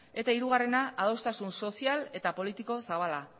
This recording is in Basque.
eta hirugarrena adostasun sozial eta politiko zabala